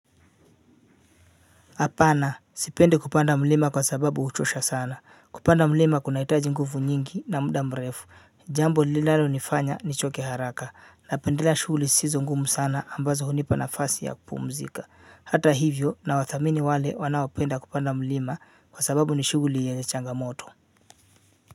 Hapana sipendi kupanda mlima kwa sababu huchosha sana kupanda mlima kuna hitaji nguvu nyingi na muda mrefu jambo linalo nifanya ni choke haraka na pendelea shughuli zisizo ngumu sana ambazo hunipa na fasi ya kupumzika hata hivyo na wathamini wale wanaopenda kupanda mlima kwa sababu ni shughuli yenye changamoto.